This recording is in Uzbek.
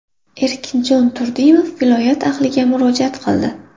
Erkinjon Turdimov viloyat ahliga murojaat qildi.